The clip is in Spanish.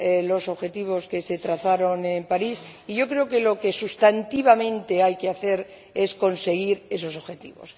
los objetivos que se trazaron en París, y yo creo que lo que sustantivamente hay que hacer es conseguir esos objetivos.